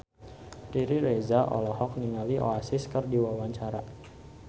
Riri Reza olohok ningali Oasis keur diwawancara